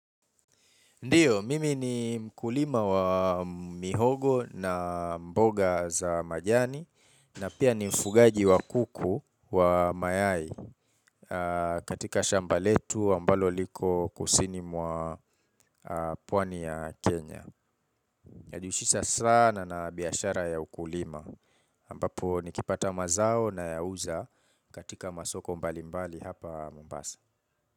Ndiyo, mimi ni mkulima wa mihogo na mboga za majani na pia ni mfugaji wa kuku wa mayai katika shamba letu ambalo liko kusini mwa pwani ya Kenya. Najiushisa sana na biashara ya ukulima. Ambapo nikipata mazao nayauza katika masoko mbali mbali hapa Mombasa.